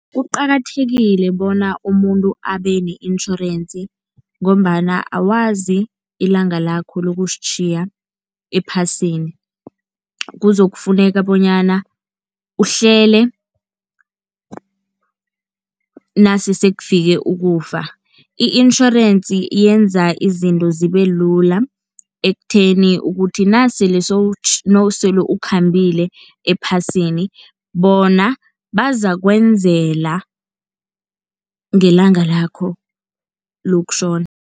Kuqakathekile bona umuntu abe ne-insurance, ngombana awazi ilanga lakho lokusitjhiya ephasini. Kuzokufuneka bonyana uhlele nase sekufike ukufa, i-insurance yenza izinto zibe lula ekutheni ukuthi nasele nasele ukhambile ephasini bona bazakwenzela ngelanga lakho lokutjhona.